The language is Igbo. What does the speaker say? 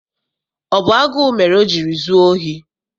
Ọ bụ agụụ mere o jiri zuo ohi?